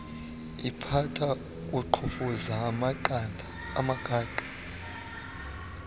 liphatha kuqhumfuza amagada